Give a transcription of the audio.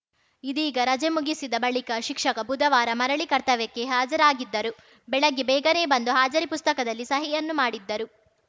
ಇದೀಗ ರಜೆ ಮುಗಿಸಿದ ಬಳಿಕ ಶಿಕ್ಷಕ ಬುಧವಾರ ಮರಳಿ ಕರ್ತವ್ಯಕ್ಕೆ ಹಾಜರಾಗಿದ್ದರು ಬೆಳಗ್ಗೆ ಬೇಗನೆ ಬಂದು ಹಾಜರಿ ಪುಸ್ತಕದಲ್ಲಿ ಸಹಿಯನ್ನೂ ಮಾಡಿದ್ದರು